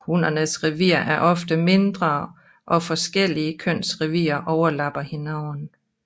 Hunnernes revir er oftest mindre og forskellige køns revirer overlapper hinanden